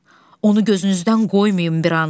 Onu gözünüzdən qoymayın bir an.